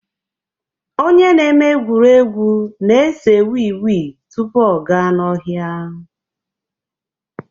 Onye na-eme egwuregwu na-ese wii wii tupu ọ gaa n'ọhịa